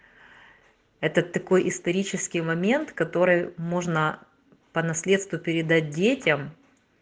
это такой исторический момент который можно по наследству передать детям